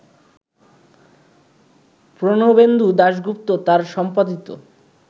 প্রণবেন্দু দাশগুপ্ত তাঁর সম্পাদিত